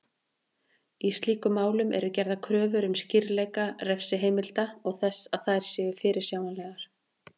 Í slíkum málum eru gerðar kröfur um skýrleika refsiheimilda og þess að þær séu fyrirsjáanlegar.